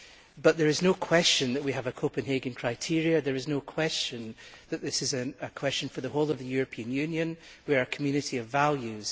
But there is no question that we have Copenhagen criteria and there is no question that this is a matter for the whole of the European Union. We are a community of values.